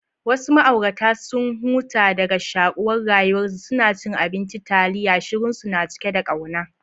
Wasu ma'aurata, sun huta daga shakuwar rayuwarsu, suna cin abinci taliya, shirunsu na cike da kauna.